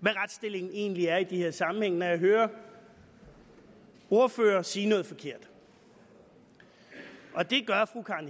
hvad retsstillingen egentlig er i de her sammenhænge når jeg hører ordførere sige noget forkert og det gør fru karen